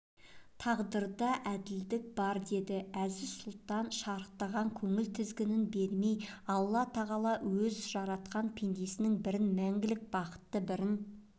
тағдырда әділдік бар деді әзиз-сұлтан шарықтаған көңіл тізгіні бермей алла тағала өз жаратқан пендесінің бірін мәңгілік бақытты бірін